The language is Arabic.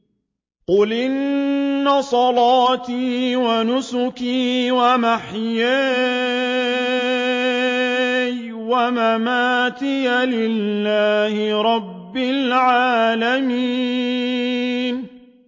قُلْ إِنَّ صَلَاتِي وَنُسُكِي وَمَحْيَايَ وَمَمَاتِي لِلَّهِ رَبِّ الْعَالَمِينَ